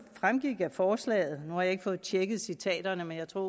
fremgik af dna forslaget nu har jeg ikke fået tjekket citaterne men jeg tror